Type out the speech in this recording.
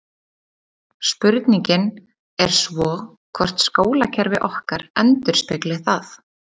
Spurningin er svo hvort skólakerfi okkar endurspegli það?